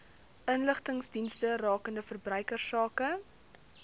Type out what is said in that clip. inligtingsdienste rakende verbruikersake